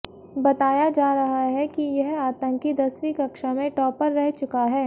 बताया जा रहा है कि यह आतंकी दसवीं कक्षा में टॉपर रह चुका है